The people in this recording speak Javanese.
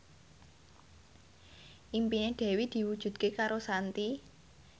impine Dewi diwujudke karo Shanti